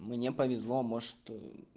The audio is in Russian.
мне повезло может